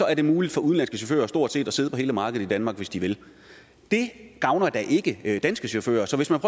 er det muligt for udenlandske chauffører stort set at sidde på hele markedet i danmark hvis de vil det gavner da ikke danske chauffører så hvis man